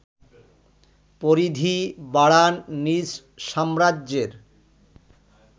পরিধি বাড়ান নিজ সাম্রাজ্যের